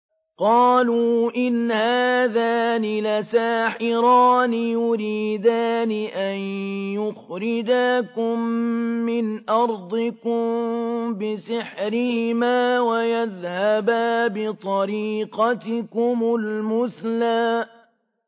قَالُوا إِنْ هَٰذَانِ لَسَاحِرَانِ يُرِيدَانِ أَن يُخْرِجَاكُم مِّنْ أَرْضِكُم بِسِحْرِهِمَا وَيَذْهَبَا بِطَرِيقَتِكُمُ الْمُثْلَىٰ